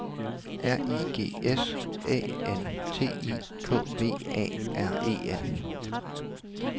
R I G S A N T I K V A R E N